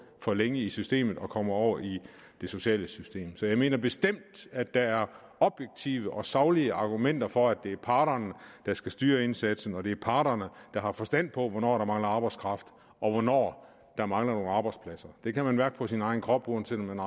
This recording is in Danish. for længe i systemet og kommer over i det sociale system så jeg mener bestemt at der er objektive og saglige argumenter for at det er parterne der skal styre indsatsen og at det er parterne der har forstand på hvornår der mangler arbejdskraft og hvornår der mangler nogle arbejdspladser det kan man mærke på sin egen krop uanset om man